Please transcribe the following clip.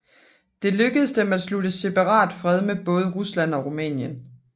Det lykkedes dem at slutte separatfred med både Rusland og Rumænien